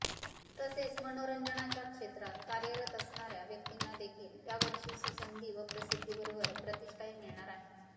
तसेच मनोरंजनाच्या क्षेत्रात कार्यरत असणार्या व्यक्तींना देखील यावर्षी सुसंधी व प्रसिद्धीबरोबर प्रतिष्ठाही मिळणार आहे